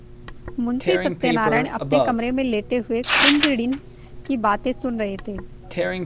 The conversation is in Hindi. मुंशी सत्यनारायण अपने कमरे में लेटे हुए कुंजड़िन की बातें सुन रहे थे